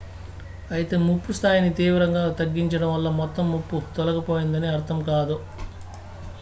"""అయితే ముప్పు స్థాయిని తీవ్రంగా తగ్గించడం వల్ల మొత్తం ముప్పు తొలగిపోయిందని అర్థం కాదు"""".""